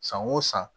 San o san